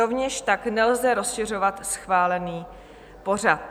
Rovněž tak nelze rozšiřovat schválený pořad.